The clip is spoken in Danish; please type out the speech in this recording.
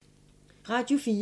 Radio 4